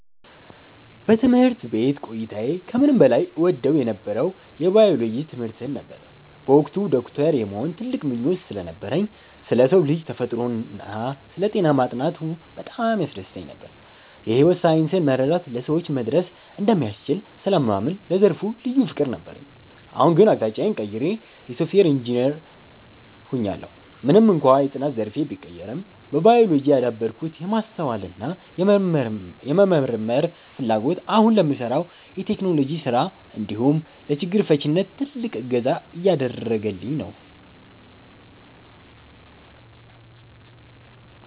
በትምህርት ቤት ቆይታዬ ከምንም በላይ እወደው የነበረው የባዮሎጂ ትምህርትን ነበር። በወቅቱ ዶክተር የመሆን ትልቅ ምኞት ስለነበረኝ፣ ስለ ሰው ልጅ ተፈጥሮና ስለ ጤና ማጥናቱ በጣም ያስደስተኝ ነበር። የሕይወት ሳይንስን መረዳት ለሰዎች መድረስ እንደሚያስችል ስለማምን ለዘርፉ ልዩ ፍቅር ነበረኝ። አሁን ግን አቅጣጫዬን ቀይሬ የሶፍትዌር ኢንጂነር ሆኛለሁ። ምንም እንኳን የጥናት ዘርፌ ቢቀየርም፣ በባዮሎጂ ያዳበርኩት የማስተዋልና የመመርመር ፍላጎት አሁን ለምሠራው የቴክኖሎጂ ሥራ እንዲሁም ለችግር ፈቺነት ትልቅ እገዛ እያደረገኝ ነው።